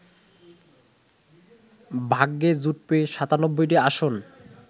ভাগ্যে জুটবে ৯৭টি আসন